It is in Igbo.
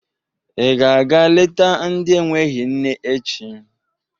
Ị ga-aga leta ndị enweghi nne echi.